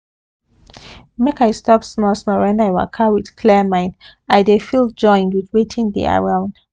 make i stop small small when i waka with clear mind i dey feel joined with wetin dey around